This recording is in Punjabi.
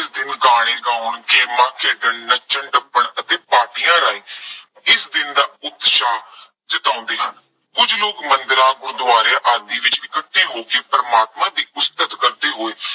ਦਿਨ ਗਾਣੇ ਗਾਉਣ, ਗੇਮਾਂ, ਖੇਡਣ, ਨੱਚਣ-ਟੱਪਣ ਅਤੇ ਪਾਰਟੀਆਂ ਰਾਹੀ, ਇਸ ਦਿਨ ਦਾ ਉਤਸ਼ਾਹ ਜਤਾਉਂਦੇ ਹਨ। ਕੁੱਝ ਲੋਕ ਮੰਦਿਰਾਂ, ਗੁਰਦੁਆਰਿਆਂ ਆਦਿ ਵਿੱਚ ਇਕੱਠੇ ਹੋ ਕੇ ਪ੍ਰਮਾਤਮਾ ਦੀ ਉਸਤਤ ਕਰਦੇ ਹੋਏ